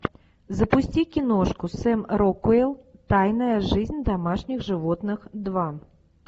запусти киношку сэм рокуэлл тайная жизнь домашних животных два